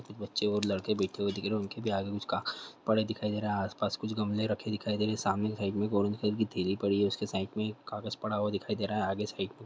बच्चे और लड़के बैठे हुए दिख रहे है उनके भी आगे कुछ का पड़े हुए दिख रहे है आसपास कुछ गमले रखे दिखाई दे रहे है सामने साइड मे एक ऑरेंज कलर की थेली पड़ी है उसके साइड मे कागज पड़ा हुआ दिखाई दे रहा है आगे साइड--